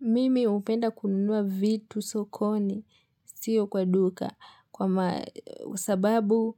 Mimi upenda kununua vitu sokoni, siyo kwa duka kwa sababu